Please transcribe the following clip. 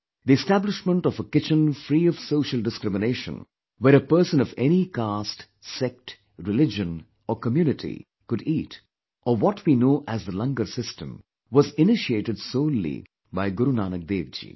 The establishment of a kitchen free of social discrimination where a person of any caste, sect, religion or community could eat or what we know as the langarsystem was initiated solely by Guru Nanak Dev Ji